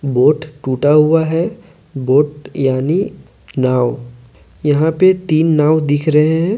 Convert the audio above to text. Vote टूटा हुआ है वोट यानी नाव यहां पे तीन नाव दिख रहे हैं।